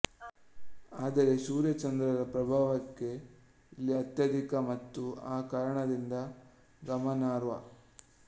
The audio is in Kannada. ಆದರೆ ಸೂರ್ಯ ಚಂದ್ರರ ಪ್ರಭಾವವೇ ಇಲ್ಲಿ ಅತ್ಯಧಿಕ ಮತ್ತು ಆ ಕಾರಣದಿಂದ ಗಮನಾರ್ಹ